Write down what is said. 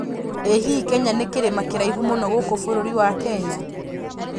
ĩ hihi Kenya nĩ kĩrima kĩraihu mũno gũku bũrũri wa Kenya